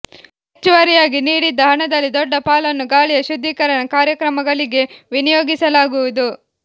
ಹೆಚ್ಚುವರಿಯಾಗಿ ನೀಡಿದ್ದ ಹಣದಲ್ಲಿ ದೊಡ್ಡ ಪಾಲನ್ನು ಗಾಳಿಯ ಶುದ್ಧೀಕರಣ ಕಾರ್ಯಕ್ರಮಗಳಿಗೆ ವಿನಿಯೋಗಿಸಲಾಗುವುದು